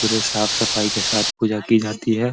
पुरे साफ़-सफाई के साथ पूजा की जाती है।